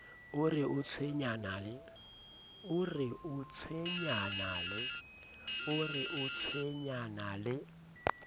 o re o tshwenyana le